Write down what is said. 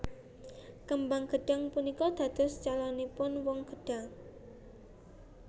Kembang gedhang punika dados caloning woh gedhang